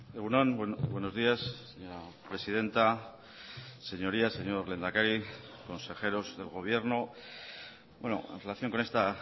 egun on buenos días señora presidenta señorías señor lehendakari consejeros del gobierno en relación con esta